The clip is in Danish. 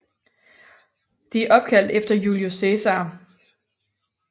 De er opkaldt efter Julius Cæsar